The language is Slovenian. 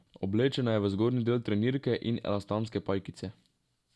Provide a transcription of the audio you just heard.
Oblečena je v zgornji del trenirke in elastanske pajkice.